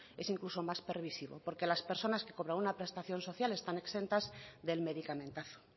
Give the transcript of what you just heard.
es incluso más permisivo porque a las personas que cobran una prestación social están exentas del medicamentazo